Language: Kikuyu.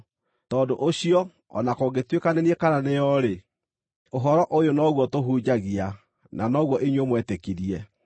Tondũ ũcio, o na kũngĩtuĩka nĩ niĩ kana nĩ o-rĩ, ũhoro ũyũ noguo tũhunjagia, na noguo inyuĩ mwetĩkirie.